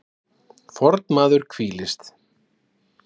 fornmaður hvílist